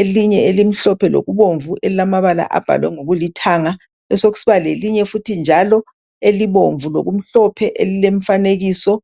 elinye elimhlophe lokubomvu elilamabala abhalwe ngokulithanga. Besekusiba lelinye futhi njalo elibomvu lokumhlophe elilemfanekiso.